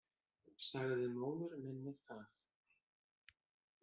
Sagði móður minni það.